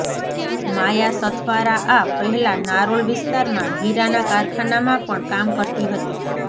માયા સથવારા આ પહેલા નારોલ વિસ્તારમાં હીરાના કારખાનામાં પણ કામ કરતી હતી